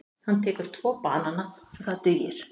Hann tekur tvo banana og það dugir.